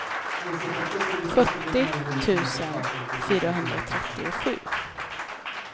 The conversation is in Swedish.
sjuttio tusen fyrahundratrettiosju